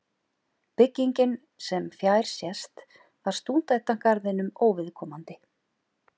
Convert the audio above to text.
Byggingin, sem fjær sést, var stúdentagarðinum óviðkomandi.